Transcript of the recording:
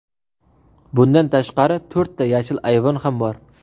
Bundan tashqari, to‘rtta yashil ayvon ham bor.